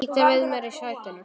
Ýta við mér í sætinu.